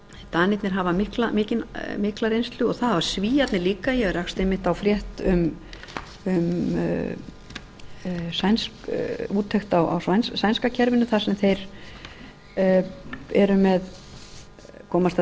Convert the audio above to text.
danirnir hafa mikla reynslu það hafa svíarnir líka ég rakst einmitt á frétt um úttekt á sænska kerfinu þar sem þeir komast að